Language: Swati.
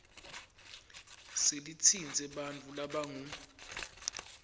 selitsintse bantfu labangu